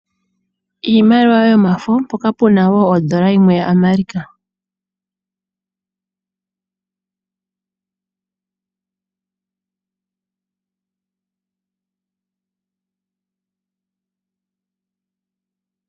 Iimaliwa yomafo mpoka puna woo ondola yimwe yaAmerika.